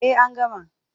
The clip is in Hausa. Eh an gama.